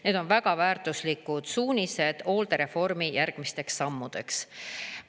Need on väga väärtuslikud suunised hooldereformi järgmisteks sammudeks.